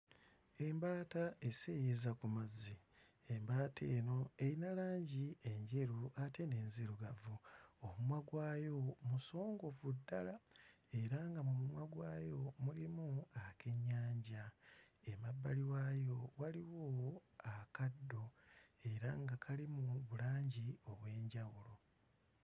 Embaata eseeyeeyeza ku mazzi. Embaata eno eyina langi enjeru ate n'enzirugavu, omumwa gwayo musongovu ddala era nga mu mumwa gwayo mulimu akennyanja. Emabbali waayo waliwo akaddo era nga kalimu bulangi obw'enjawulo.